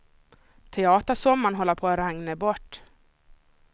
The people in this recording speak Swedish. Teatersommaren håller på att regna bort.